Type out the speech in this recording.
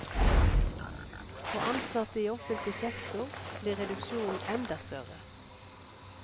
For ansatte i offentlig sektor blir reduksjonen enda større.